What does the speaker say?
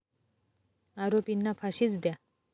आरोपींना फाशीच द्या!